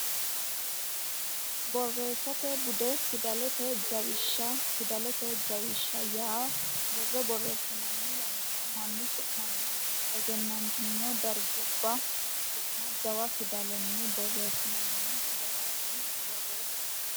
Borreessate Bude Fidalete Jawishsha Fidalete jawisha yaa borro borreessinanni yannara mannu su manna egennantino dargubba su ma jawa fidalenni borreessinanni garaati Borreessate.